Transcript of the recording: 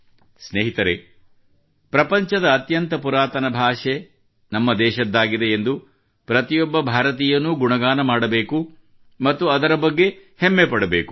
ಸ್ನೇಹಿತರೇ ಪ್ರಪಂಚದ ಅತ್ಯಂತ ಪುರಾತನ ಭಾಷೆ ನಮ್ಮ ದೇಶದ್ದಾಗಿದೆ ಎಂದು ಪ್ರತಿಯೊಬ್ಬ ಭಾರತೀಯನೂ ಗುಣಗಾನ ಮಾಡಬೇಕು ಮತ್ತು ಅದರ ಬಗ್ಗೆ ಹೆಮ್ಮೆ ಪಡಬೇಕು